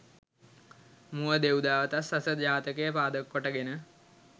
මුව දෙව්දාවතත්, සස ජාතකය පාදක කොට ගෙන